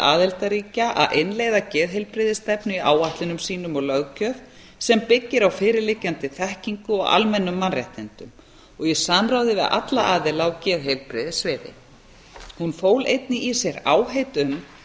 aðildarríkja að innleiða geðheilbrigðisstefnu í áætlunum sínum og löggjöf sem byggir á fyrirliggjandi þekkingu og almennum mannréttindum og í samráði við alla aðila á geðheilbrigðissviði hún fól einnig í sér áheit um